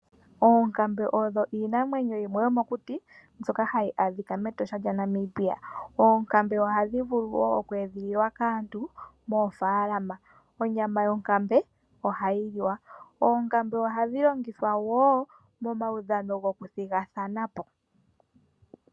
Oonkambe odho iinamwenyo yimwe yomokuti, mbyoka hayi adhika mEtosha lyaNamibia. Oonkambe ohadhi vulu wo oku edhililwa kaantu moofaalama. Onyama yonkambe ohayi liwa. Oonkambe ohadhi longithwa wo momaudhano gokuthigathanapo.